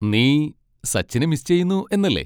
നീ സച്ചിനെ മിസ് ചെയ്യുന്നു എന്നല്ലേ.